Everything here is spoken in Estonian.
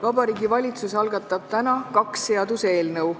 Vabariigi Valitsus algatab täna kaks seaduseelnõu.